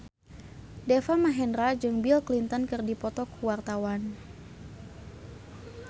Deva Mahendra jeung Bill Clinton keur dipoto ku wartawan